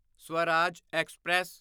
Swaraj express